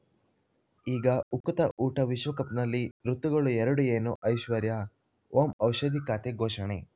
ಈಗ ಉಕುತ ಊಟ ವಿಶ್ವಕಪ್‌ನಲ್ಲಿ ಋತುಗಳು ಎರಡು ಏನು ಐಶ್ವರ್ಯಾ ಓಂ ಔಷಧಿ ಖಾತೆ ಘೋಷಣೆ